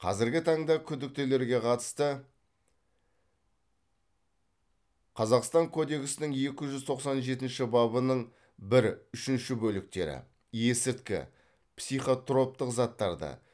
қазіргі таңда күдіктілерге қатысты қазақстан кодексінің екі жүз тоқсан жетінші бабының бір үшінші бөліктері есірткі психотроптық заттарды